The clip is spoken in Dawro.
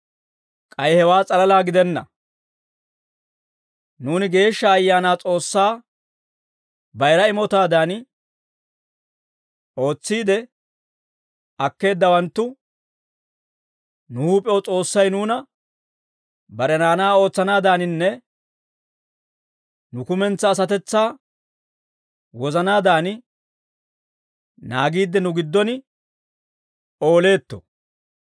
K'ay hewaa s'alalaa gidenna; nuuni, Geeshsha Ayaanaa S'oossaa bayira imotaadan ootsiide akkeeddawanttu, nu huup'ew S'oossay nuuna bare naanaa ootsanaadaninne nu kumentsaa asatetsaa wozanaadan naagiidde, nu giddon ooleetto.